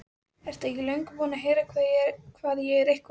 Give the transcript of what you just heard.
Ertu ekki löngu búinn að heyra hvað ég er eitthvað.